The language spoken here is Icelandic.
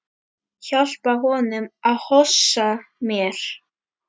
Hjálpa honum að hossa mér.